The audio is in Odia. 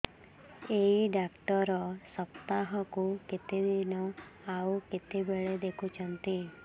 ଏଇ ଡ଼ାକ୍ତର ସପ୍ତାହକୁ କେତେଦିନ ଆଉ କେତେବେଳେ ଦେଖୁଛନ୍ତି